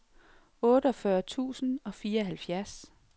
otteogfyrre tusind og fireoghalvfjerds